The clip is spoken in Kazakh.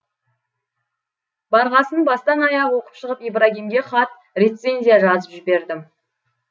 барғасын бастан аяқ оқып шығып ибрагимге хат рецензия жазып жібердім